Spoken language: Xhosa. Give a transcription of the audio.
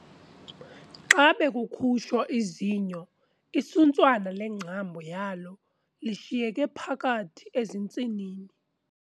Xa bekukhutshwa izinyo isuntswana lengcambu yalo lishiyeke phakathi ezintsinini.